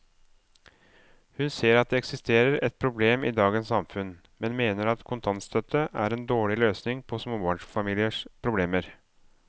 Hun ser at det eksisterer et problem i dagens samfunn, men mener at kontantstøtte er en dårlig løsning på småbarnsfamiliers problemer.